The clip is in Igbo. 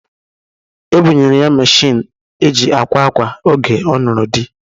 E bunyere ya meshịn eji akwa akwa oge ọ nụrụ di